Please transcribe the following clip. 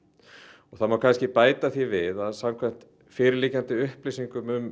og það má bæta því við að samkvæmt fyrirliggjandi upplýsingum um